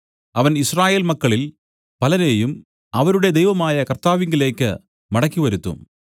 അവൻ യിസ്രായേൽ മക്കളിൽ പലരെയും അവരുടെ ദൈവമായ കർത്താവിലേക്ക് മടക്കിവരുത്തും